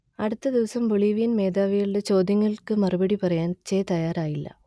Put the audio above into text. അടുത്ത ദിവസം ബൊളീവിയൻ മേധാവികളുടെ ചോദ്യങ്ങൾക്കു മറുപടി പറയാൻ ചെ തയ്യാറായില്ല